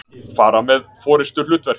fara með forystuhlutverk.